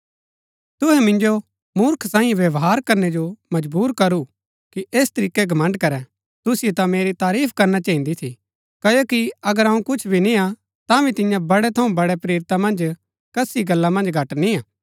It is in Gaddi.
तुहै मिन्जो मूर्ख सांईयै व्यवहार करनै जो मजबुर करू कि ऐस तरीकै घमण्ड़ करैं तुसिओ ता मेरी तारीफ करणा चहिन्दी थी क्ओकि अगर अऊँ कुछ भी निय्आ तांभी तियां बड़े थऊँ बड़े प्रेरिता मन्ज कसी गल्ला मन्ज घट निय्आ